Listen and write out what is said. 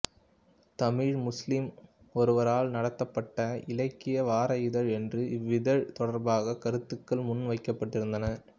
தமிழ் முஸ்லிம் ஒருவரால் நடத்தப்பட்ட இலக்கிய வார இதழ் என்று இவ்விதழ் தொடர்பாக கருத்துக்கள் முன்வைக்கப்பட்டிருந்தன